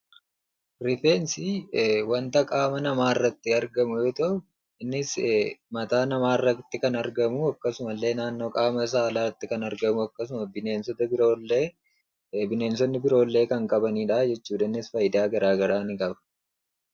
Rifeensi wanta qaama namaa irratti argamu yammuu ta'u; innis mataa namaarratti kan argamu; akkasumas naannoo qaamaa saalaa irratti kan argamuu fi akkasumas bineensonni garaa garaa kan qabanii fi faayidaa addaa addaa qaba.